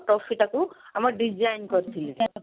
trophy ଟାକୁ ଆମେ design କରିଥିଲେ